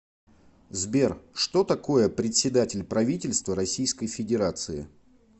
сбер что такое председатель правительства российской федерации